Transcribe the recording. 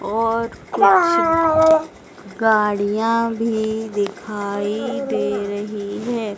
और कुछ गाड़ियां भी दिखाई दे रही हैं।